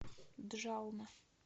джална